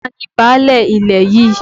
Ta ni báálẹ̀ ilẹ̀ yìí?